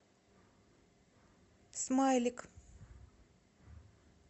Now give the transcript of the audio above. смайлик